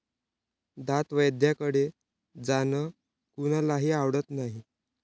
दंतवैद्याकडे जाणं कुणालाही आवडत नाही.